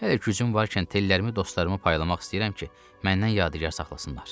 Hələ gücüm varkən tellərimi dostlarıma paylamaq istəyirəm ki, məndən yadigar saxlasınlar.